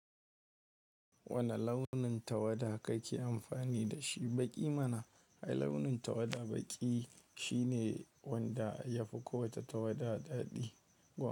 Wane launin tawada kake amfani da shi baƙi mana? Ai, launin tawada baƙi shine wanda ya fi kowace tawada daɗi.